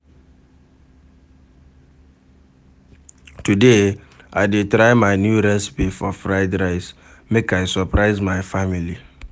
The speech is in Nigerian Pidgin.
Today, I dey try new recipe for fried rice, make I surprise my family.